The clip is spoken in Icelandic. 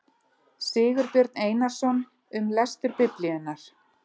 Sigurbjörn Einarsson, Um lestur Biblíunnar.